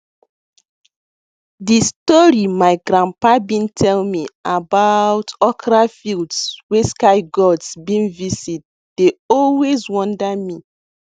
de story my grandpa been tell me about okra fields wey sky gods been visit dey always wonder me